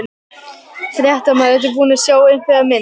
Fréttamaður: Ertu búin að sjá einhverja mynd?